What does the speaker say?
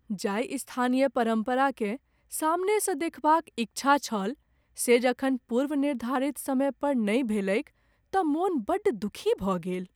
जाहि स्थानीय परम्पराकेँ सामनेसँ देखबाक इच्छा छल से जखन पूर्वनिर्धारित समय पर नहि भेलैक तँ मन बड़ दुखी भऽ गेल।